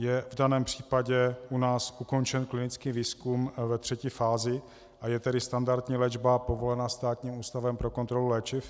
Je v daném případě u nás ukončen klinický výzkum ve třetí fázi, a je tedy standardní léčba povolena Státním ústavem pro kontrolu léčiv?